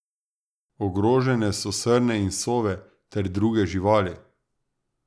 Ogrožene so srne in sove ter druge živali.